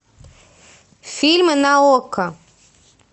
фильмы на окко